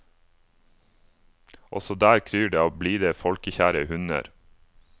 Også der kryr det av blide folkekjære hunder.